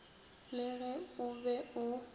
le ge o be o